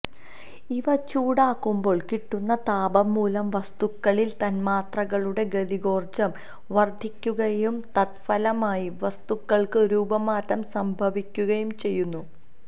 ഇവ ചൂടാക്കുമ്പോൾ കിട്ടുന്ന താപം മൂലം വസ്തുക്കളിലെ തൻമാത്രകളുടെ ഗതികോർജ്ജം വർദ്ധിക്കുകയും തത്ഫലമായി വസ്തുക്കൾക്ക് രൂപമാറ്റം സംഭവിക്കുകയും ചെയ്യുന്നു